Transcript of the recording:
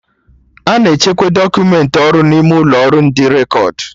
Ana echekwa dọkumentị ọrụ n'ime ụlọ ọrụ ndị rekọd